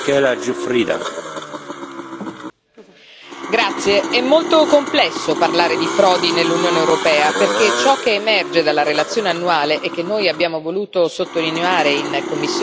È molto complesso parlare di frodi nell'Unione europea, perché ciò che emerge dalla relazione annuale e che noi abbiamo voluto sottolineare in commissione REGI è che in realtà non si può fare affidamento sui dati.